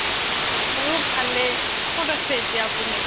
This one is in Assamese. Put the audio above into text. মোৰো ভালেই ক'ত আছে এতিয়া আপুনি ?